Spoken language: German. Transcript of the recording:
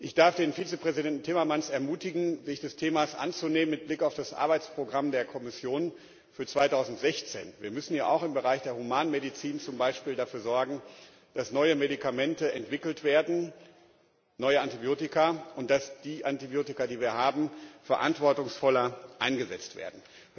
Ich darf den Vizepräsidenten Timmermans ermutigen, sich des Themas mit Blick auf das Arbeitsprogramm der Kommission für 2016 anzunehmen. Wir müssen ja zum Beispiel auch im Bereich der Humanmedizin dafür sorgen, dass neue Medikamente entwickelt werden neue Antibiotika und dass die Antibiotika, die wir haben, verantwortungsvoller eingesetzt werden.